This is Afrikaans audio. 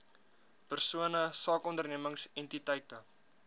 persone sakeondernemings entiteite